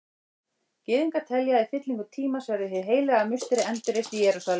Gyðingar telja að í fyllingu tímans verði Hið heilaga musteri endurreist í Jerúsalem.